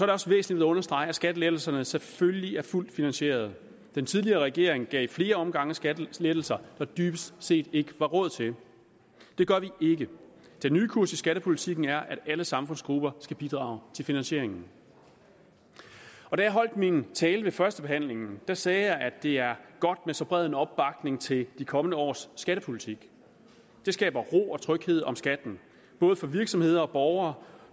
det også væsentligt at understrege at skattelettelserne selvfølgelig er fuldt finansieret den tidligere regering gav i flere omgange skattelettelser der dybest set ikke var råd til det gør vi ikke den nye kurs i skattepolitikken er at alle samfundsgrupper skal bidrage til finansieringen da jeg holdt min tale ved førstebehandlingen sagde jeg at det er godt med så en bred opbakning til de kommende års skattepolitik det skaber ro og tryghed om skatten både for virksomheder og borgere